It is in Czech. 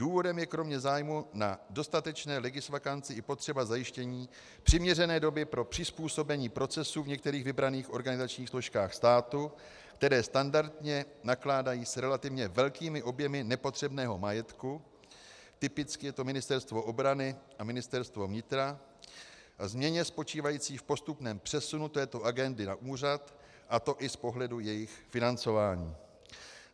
Důvodem je kromě zájmu na dostatečné legisvakanci i potřeba zajištění přiměřené doby pro přizpůsobení procesů v některých vybraných organizačních složkách státu, které standardně nakládají s relativně velkými objemy nepotřebného majetku, typicky je to Ministerstvo obrany a Ministerstvo vnitra, a změně spočívající v postupném přesunu této agendy na úřad, a to i z pohledu jejich financování.